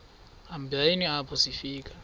hambeni apho sifika